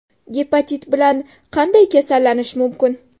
Gepatit bilan qanday kasallanish mumkin?